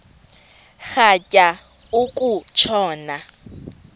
rhatya uku tshona